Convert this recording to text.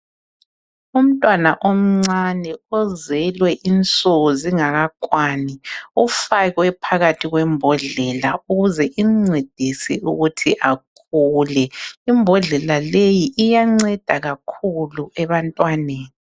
Umntwana omncane ozelwe insuku zingakakwani ufakwe phakathi kwembodlela ukuze imncedise ukuthi akhule. Imbhodlela leyi iyanceda kakhulu ebantwaneni.